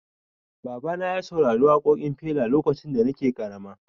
Baba na ya saurari waƙoƙin Fela lokacin da nake ƙarama